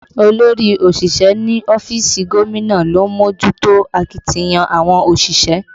Olórí òṣìṣẹ́ ní ọ́fíìsì gómìnà ló ń mójútó akitiyan àwọn òṣìṣẹ́